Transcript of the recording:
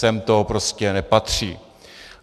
Sem to prostě nepatří.